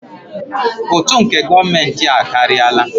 Ụtụ nke gọọmentị a akarịala.